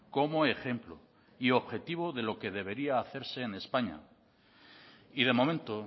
como ejemplo y objetivo de lo que debería hacerse en españa y de momento